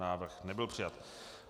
Návrh nebyl přijat.